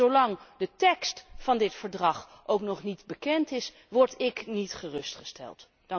Zolang de tekst van dit verdrag ook nog niet bekend is word ik niet gerustgesteld.